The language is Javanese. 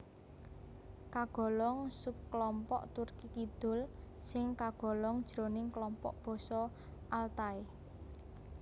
Kagolong subklompok Turki Kidul sing kagolong jroning klompok basa Altai